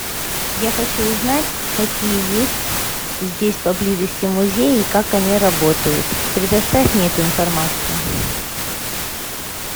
я хочу узнать какие есть здесь поблизости музеи и как они работают предоставь мне эту информацию